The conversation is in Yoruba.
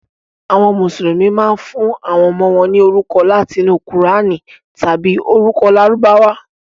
Àwọn Mùsùlùmí máa ń fún àwọn ọmọ wọn ní orúkọ láti inú Kùránì tàbí orúkọ Lárúbáwá.